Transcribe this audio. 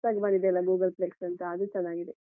ಹೊಸ್ದಾಗಿ ಬಂದಿದ್ಯಲ್ಲ Googleplex ಅಂತ ಅದು ಚೆನ್ನಾಗಿದೆ.